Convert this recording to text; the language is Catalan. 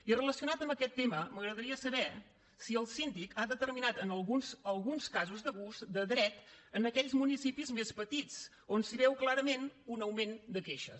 i relacionat amb aquest tema m’agradaria saber si el síndic ha determinat alguns casos d’abús de dret en aquells municipis més petits on es veu clarament un augment de queixes